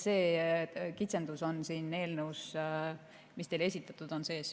Selline kitsendus on siin eelnõus, mis teile on esitatud, sees.